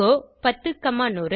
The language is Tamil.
கோ 10100